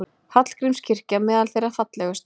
Hallgrímskirkja meðal þeirra fallegustu